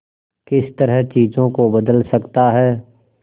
किस तरह चीजों को बदल सकता है